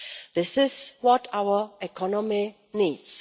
This is what our economy needs.